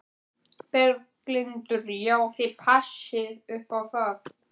Berghildur: Já, þið passið upp á það?